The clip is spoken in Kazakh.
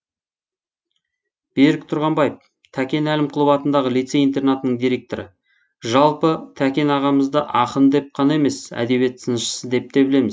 берік тұрғанбаев тәкен әлімқұлов атындағы лицей интернатының директоры жалпы тәкен ағамызды ақын деп қана емес әдебиет сыншысы деп те білеміз